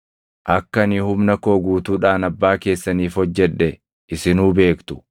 Akka ani humna koo guutuudhaan abbaa keessaniif hojjedhe isinuu beektu;